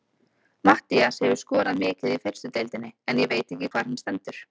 Matthías hefur skorað mikið í fyrstu deildinni en ég veit ekki hvar hann stendur.